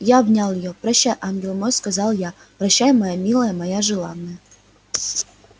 я обнял её прощай ангел мой сказал я прощай моя милая моя желанная